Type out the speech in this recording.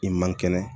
I man kɛnɛ